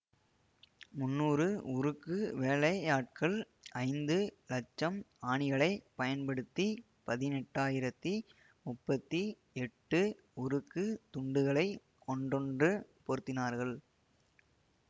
முன்னூறு உருக்கு வேலையாட்கள் ஐந்து இலட்சம் ஆணிகளைப் பயன்படுத்தி பதினெட்டாயிரத்தி முப்பத்தி எட்டு உருக்குத் துண்டுகளை ஒன்றுடனொன்று பொருத்தினார்கள்